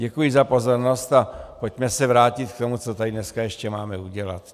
Děkuji za pozornost a pojďme se vrátit k tomu, co tady dneska ještě máme udělat.